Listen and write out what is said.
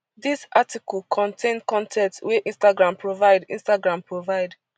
dis article contain con ten t wey instagram provide instagram provide